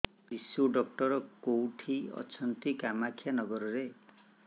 ଶିଶୁ ଡକ୍ଟର କୋଉଠି ଅଛନ୍ତି କାମାକ୍ଷାନଗରରେ